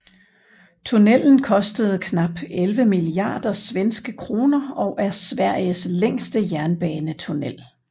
Tunnelen kostede knap 11 milliarder svenske kroner og er Sveriges længste jernbanetunnel